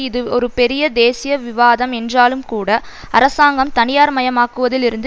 இது ஒரு பெரிய தேசிய விவாதம் என்றாலும்கூட அரசாங்கம் தனியார் மயமாக்குவதில் இருந்து